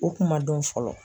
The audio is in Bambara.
O kun ma dɔn fɔlɔ.